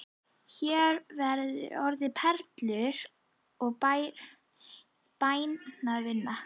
Hér verða orðin perlur og bænirnar vinna.